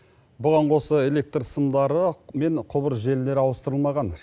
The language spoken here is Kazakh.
бұған қоса электр сымдары мен құбыр желілері ауыстырылмаған